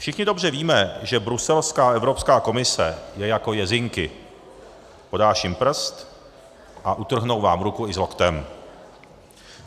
Všichni dobře víme, že bruselská Evropská komise je jako jezinky - podáš jim prst a utrhnou vám ruku i s loktem.